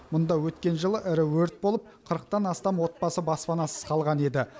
мұнда өткен жылы ірі өрт болып қырықтан астам отбасы баспанасыз қалған еді